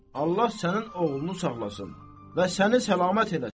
Allah sənin oğlunu saxlasın və səni salamat eləsin.